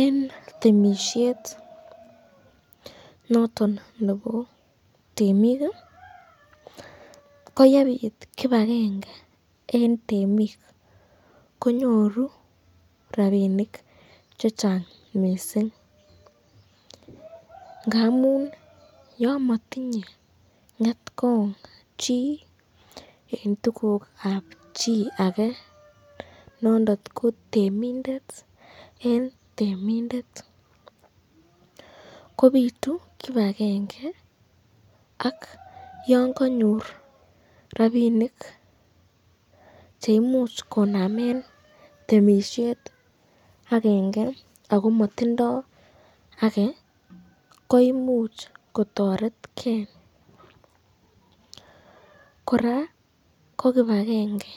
En temisiet noton nebo temik koyebit kipagenge en temik konyoru rabinik che chang mising ngamun yon motinye ng'etkong chi en tuguk ab chi age nondon ko temindet en temindet kobitu kipagenge ak yon kanyor rabinik cheimuch konamen temisiet agenge ago motindo age koimuch kotoreken kora ko kipagenge